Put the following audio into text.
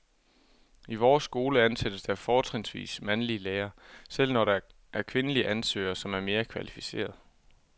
I vores skole ansættes der fortrinsvis mandlige lærere, selv når der er kvindelige ansøgere, som er mere kvalificerede.